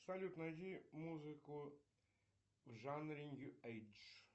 салют найди музыку в жанре нью эйдж